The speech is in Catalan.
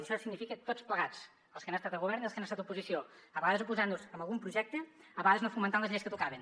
i això significa tots plegats els que han estat govern i els que han estat oposició a vegades oposant nos a algun projecte a vegades no fomentat les lleis que tocaven